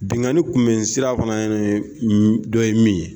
Binnkanni kunbɛnni sira fana dɔ ye min ye